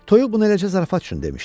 Toyuq bunu eləcə zarafat üçün demişdi.